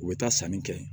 U bɛ taa sanni kɛ